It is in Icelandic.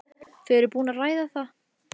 Þau eru búin að ræða það.